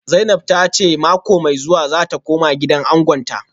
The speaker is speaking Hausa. Zainab ta ce mako mai zuwa za ta koma gidan angonta